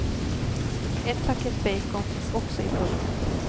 Ett paket bacon finns också i pulkan.